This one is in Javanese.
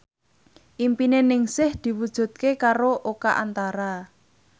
impine Ningsih diwujudke karo Oka Antara